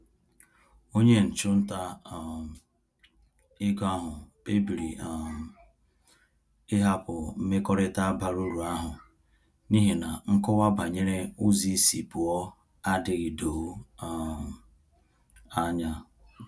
Onye ọchụnta um ego ahụ kpebiri um ịhapụ mmekọrịta bara uru ahụ n’ihi na nkọwa banyere ụzọ isi pụọ adịghị doo um anya.